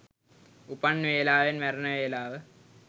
උපන් වෙලාවෙන් මැරෙන වෙලාව